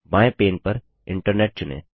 बायें पैन पर इंटरनेट चुनें